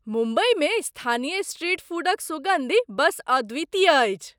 मुम्बईमे स्थानीय स्ट्रीट फूडक सुगन्धि बस अद्वितीय अछि!